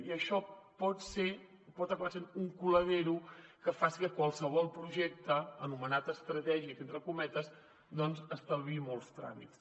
i això pot acabar sent un colador que faci que qualsevol projecte anomenat estratègic entre cometes estalviï molts tràmits